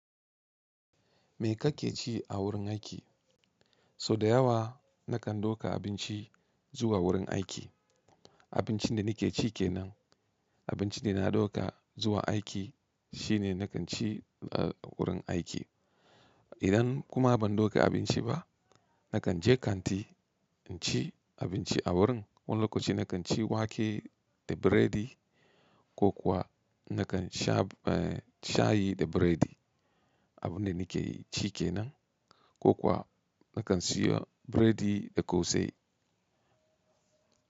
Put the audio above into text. Me kake ci a wurin aiki? So da yawa nakan ɗauka abinci zuwa wurin aiki. Abincin da nike ci kenan. Abincin da na ɗauka zuwa aiki shine nakan ci a wurin aiki. Idan kuma ban ɗauka abinci ba, nakan je kanti in ci abinci a wurin. Wani lokaci nakan ci wake da biredi ko kuwa nakan sha shayi da biredi. Abun da nike ci kenan ko kuwa nakan siyo biredi da kose.